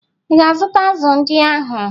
Ị ga-azụta azụ̀ ndị ahụ?